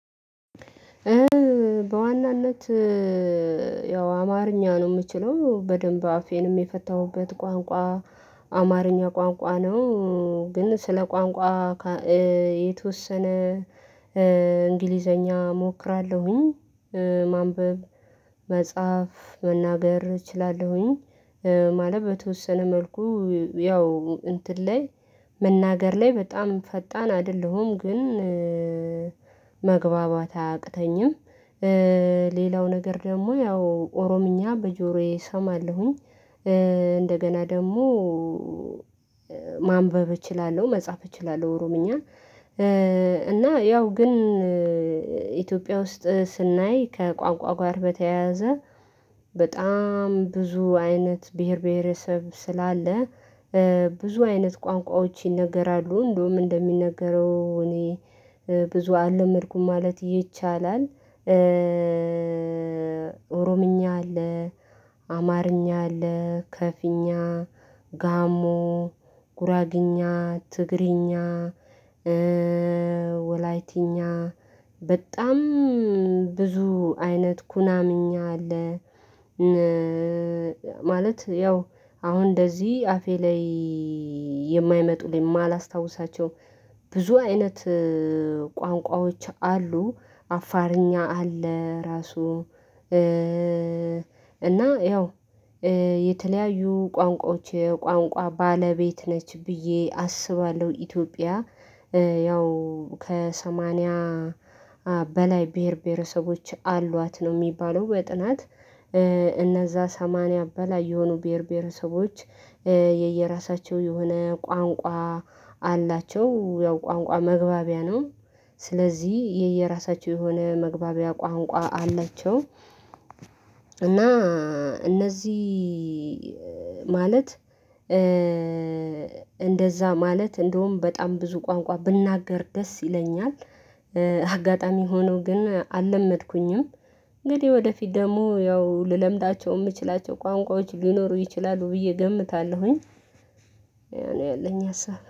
በዋናነት ያው አማርኛ ነው የምችለው በደንብ አፌንም የፈታሁበት ቋንቋ አማርኛ ቋንቋ ነው። ግን ስለ ቋንቋ የተወሰነ እንግሊዘኛ እሞክራለሁኝ ማንበብ መጽሐፍ መናገር እችላለሁኝ። ማለት በተወሰነ መልኩ ያው እንትን ላይ መናገር ላይ በጣም ፈጣን አይደለሁም ግን መግባባት አያቅተኝም። ሌላው ነገር ደግሞ ያው ኦሮምኛ በጆሮዬ እሰማለሁኝ እንደገና ደግሞ ማንበብ እችላለሁ መጻፍ እችላለሁ ኦሮምኛ። እና ያው ግን ኢትዮጵያ ውስጥ ስናይ ከቋንቋ ጋር በተያያዘ በጣም ብዙ አይነት ብሄር ብሄረሰብ ስላለ ብዙ አይነት ቋንቋዎች ይነገራሉ እንደውም እንደሚነገረው እኔ ብዙ አልለመድኩም ማለት ይቻላል። ኦሮምኛ አለ አማርኛ አለ ከፊኛ ጋሞ ጉራግኛ ትግሪኛ ወላይቲኛ በጣም ብዙ አይነት ኩናምኛ አለ። ማለት ያው አሁን እንደዚህ አፌ ላይ የማይመጡ የማላስታውሳቸው ብዙ አይነት ቋንቋዎች አሉ አፋርኛ አለ ራሱ እና ያው የተለያዩ ቋንቋዎች ቋንቋ ባለቤት ነች ብዬ አስባለሁ። ኢትዮጵያ ያው ከሰማንያ በላይ ብሄር ብሄረሰቦች አሏት ነው የሚባለው በጥናት እነዛ ሰማንያ በላይ የሆኑ ብሄር ብሄረሰቦች የየራሳቸው የሆነ ቋንቋ አላቸው ያው ቋንቋ መግባቢያ ነው። ስለዚህ የየራሳቸው የሆነ መግባቢያ ቋንቋ አለችው እና እነዚህ ማለት እንደዛ ማለት እንደውም በጣም ብዙ ቋንቋ ብናገር ደስ ይለኛል። አጋጣሚ ሆኖ ግን አልለመድኩኝም እንግዲህ ወደፊት ደግሞ ያው ልለምዳቸው የምችላቸው ቋንቋዎች ሊኖሩ ይችላሉ ብዬ እገምታለሁኝ። ያኔ ያለኝ ሀሳብ